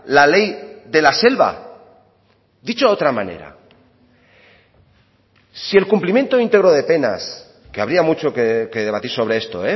la ley de la selva dicho de otra manera si el cumplimiento integro de penas que habría mucho que debatir sobre esto